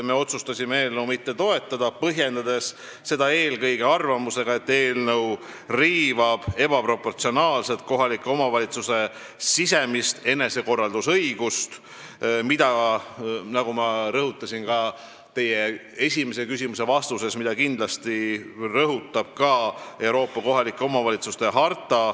Me otsustasime eelnõu mitte toetada, põhjendades seda eelkõige arvamusega, et eelnõu riivab ebaproportsionaalselt kohaliku omavalitsuse sisemist enesekorraldusõigust, nagu ma ennist rõhutasin ja nagu ütleb ka Euroopa kohaliku omavalitsuse harta.